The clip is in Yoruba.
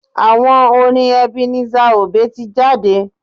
Àwo orin Ebenezer obey tí jáde.